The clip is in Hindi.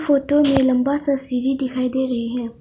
फोतो में लंबा सा सीढ़ी दिखाई दे रही है।